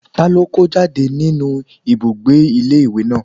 Ta ló kó jáde nínu ibùgbé ilé ìwé náà?